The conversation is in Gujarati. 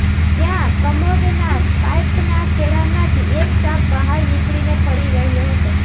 ત્યાં કમોડ ના પાઈપ ના છેડા માંથી એક સાંપ બહાર નીકળી ને ફરી રહ્યો હતો